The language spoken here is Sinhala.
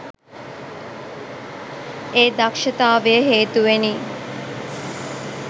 ඒ දක්ෂතාවය හේතුවෙනි.